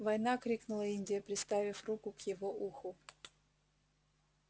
война крикнула индия приставив руку к его уху